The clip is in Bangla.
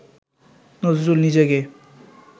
নজরুল নিজেকে